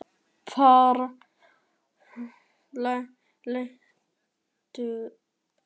Bara ógeðslega lélegt, ertu að grínast?